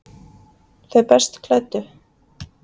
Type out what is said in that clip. Þau best klæddu